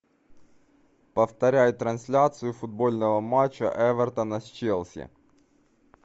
повторяй трансляцию футбольного матча эвертона с челси